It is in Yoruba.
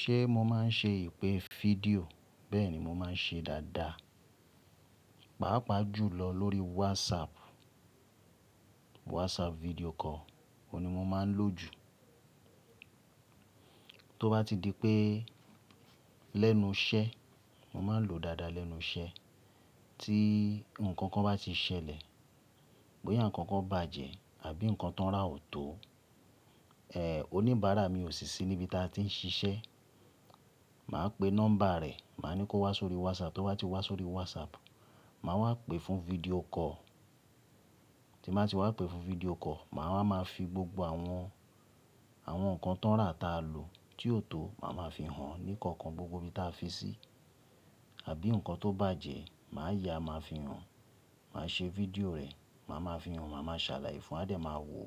Ṣé mo máa ń ṣe ìpè fídíò? Bẹ́ẹ̀ni, mo máa ń ṣe dáadáa. Pàápàá jùlọ lórí WhatsApp, WhatsApp video call, òhun ni mo máa ń lò jù. Tóbá ti di pé lẹ́nu iṣẹ́, mo máa n lo dáadáa lẹ́nu iṣẹ́ tí ǹkankan bá ti ṣẹlẹ̀, bóyá ǹkankan bàjẹ́ àbí ǹkan tó ń rà ò tó, ẹ́è, oníbàárà mi ò sì sí níbi tí a ti ń ṣiṣẹ́, màá pe nọ́mbà rẹ̀, màá ni kó wá sórí WhatsApp. Tó bá ti wá sórí WhatsApp, màá wá pè fún video call. Tí n bá ti wá pè fún video call, màá wa máa fi gbogbo àwọn, àwọn ǹkan tóń rà ta lò tí ò tó, màá máa fi hàn ní ìkọ̀ọ̀kan gbogbo ibi tí a fi sí. Àbí ǹkan tó bàjẹ́, màá yá, màá fi hàn. Máa ṣe fídíò rẹ̀, má máa fi hàn, má máa ṣàlàyé fún a dé máa wò,